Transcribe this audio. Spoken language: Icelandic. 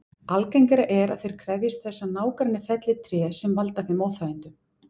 Algengara er að þeir krefjist þess að nágranni felli tré sem valda þeim óþægindum.